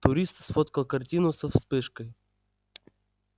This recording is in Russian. турист сфоткал картину со вспышкой